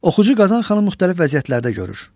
Oxucu Qazan xanım müxtəlif vəziyyətlərdə görür.